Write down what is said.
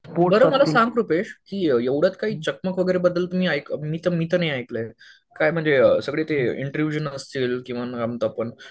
सांग रुपेश की एवढ्यात काही चकमक वगैरे मी तर नाही ऐकलंय. काय ते सगळे म्हणजे किंवा आपण